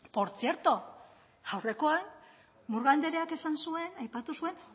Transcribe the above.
portzierto aurrekoan murga andreak esan zuen aipatu zuen